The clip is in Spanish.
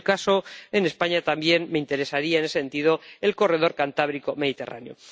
En el caso en España también me interesaría en ese sentido el corredor cantábrico mediterráneo.